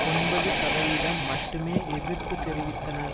ஒன்பது சதவீதம் மட்டுமே எதிர்ப்பு தெரிவித்தனர்